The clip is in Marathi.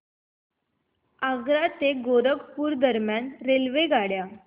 आग्रा ते गोरखपुर दरम्यान रेल्वेगाड्या